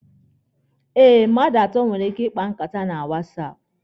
Eh, mmadụ atọ nwere ike ịkpa nkata na wasapụ.